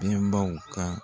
Denbaw ka.